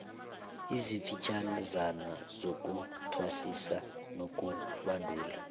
ezifitjhazana zokuthwasisa nokubandula